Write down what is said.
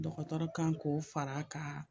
Dɔgɔtɔrɔ kan k'o fara a kan